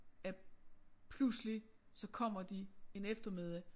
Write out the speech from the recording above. At pludselig så kommer de en eftermiddag